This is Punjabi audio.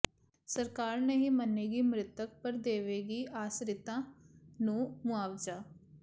ਸਰਕਾਰ ਨਹੀਂ ਮੰਨੇਗੀ ਮ੍ਰਿਤਕ ਪਰ ਦੇਵੇਗੀ ਆਸਰਿਤਾਂ ਨੂੰ ਮੁਆਵਜ਼ਾ